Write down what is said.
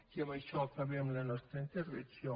i amb això acabem la nostra intervenció